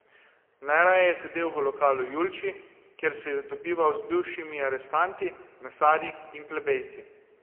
Najraje je sedel v lokalu Julči, kjer se je dobival z bivšimi arestanti, mesarji in plebejci.